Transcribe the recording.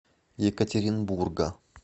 екатеринбурга